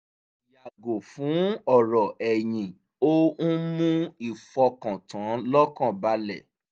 yààgò fún ọrọ̀ ẹ̀yìn ó ń mú ìfọkàntán lọ́kàn balẹ̀